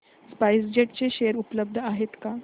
spice jet चे share उपलब्ध आहेत का